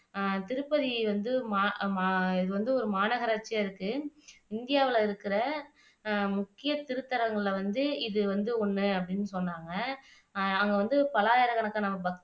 அஹ் திருப்பதி வந்து மா இது வந்து ஒரு மாநகராட்சியா இருக்கு இந்தியாவுல இருக்குற முக்கியத் திருத்தலங்கள்ல வந்து இது வந்து ஒன்னு அப்படின்னு சொன்னாங்க அங்க வந்து பல ஆயிரக்கணக்கான பக்தர்கள்